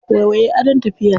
Waiwaye adon tafiya.